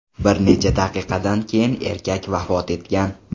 Bir necha daqiqadan keyin erkak vafot etgan.